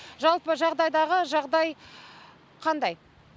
жалпы жағдайдағы жағдай қандай